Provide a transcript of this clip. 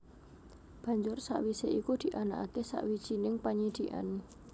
Banjur sawisé iku dianakaké sawijining panyidhikan